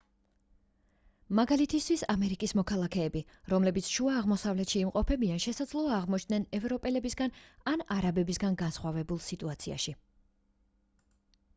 მაგალითისთვის ამერიკის მოქალაქეები რომლებიც შუა აღმოსავლეთში იმყოფებიან შესაძლოა აღმოჩნდნენ ევროპელებისგან ან არაბებისგან განსხვავებულ სიტუაციაში